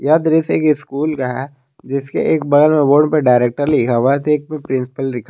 यह दृश्य एक स्कूल का है जिसके एक बगल में बोर्ड पे डायरेक्टर लिखा हुआ है तो एक पे प्रिंसिपल लिखा --